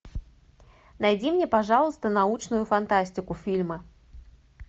найди мне пожалуйста научную фантастику фильмы